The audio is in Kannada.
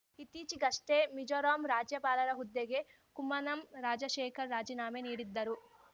ಇತ್ತೀಚೆಗಷ್ಟೇ ಮಿಜೋರಾಂ ರಾಜ್ಯಪಾಲರ ಹುದ್ದೆಗೆ ಕುಮ್ಮನಂ ರಾಜಶೇಖರ ರಾಜೀನಾಮೆ ನೀಡಿದ್ದರು